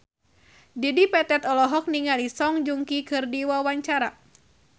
Dedi Petet olohok ningali Song Joong Ki keur diwawancara